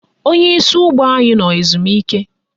Onyeisi ụgbọ anyị nọ ezumike